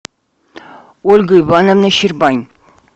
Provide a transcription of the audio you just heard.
ольга ивановна щербань